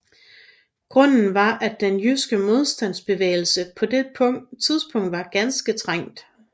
Grunden var at den jyske modstandsbevægelse på det tidspunkt var ganske trængt